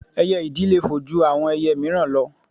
Ẹyẹ ìdì le fò ju àwọn ẹyẹ míìràn lọ